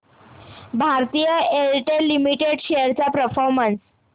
Bharti Airtel limited shares चा performance